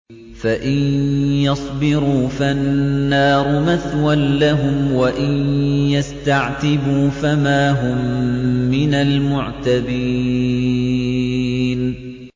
فَإِن يَصْبِرُوا فَالنَّارُ مَثْوًى لَّهُمْ ۖ وَإِن يَسْتَعْتِبُوا فَمَا هُم مِّنَ الْمُعْتَبِينَ